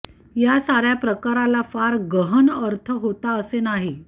या साऱ्या प्रकाराला फार गहन अर्थ होता असे नाही